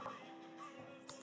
Að lokum, Lilja.